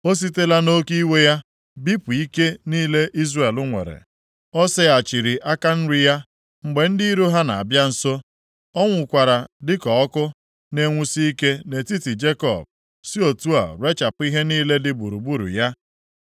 O sitela nʼoke iwe ya bipụ ike niile Izrel nwere. O seghachiri aka nri ya, mgbe ndị iro ha na-abịa nso. O nwukwara dịka ọkụ na-enwusi ike nʼetiti Jekọb; si otu a rechapụ ihe niile dị gburugburu ya.